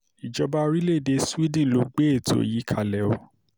ìjọba orílẹ̀‐èdè sweden ló gbé ètò yìí kalẹ̀ o